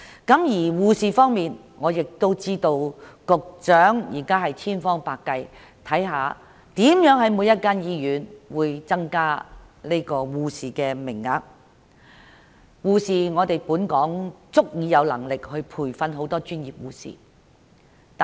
至於護士方面，據我所知，局長正千方百計增加每所醫院的護士名額，而香港亦有足夠能力培訓更多專業護士。